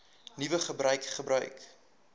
nuwe gebruik gebruik